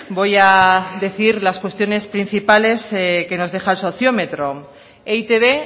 voy a decir las cuestiones principales que nos deja el sociómetro e i te be